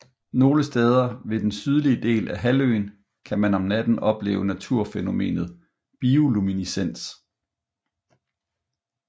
Nogle steder ved den sydlige del af halvøen kan man om natten opleve naturfænomenet bioluminescens